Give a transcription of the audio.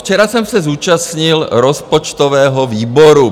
Včera jsem se zúčastnil rozpočtového výboru.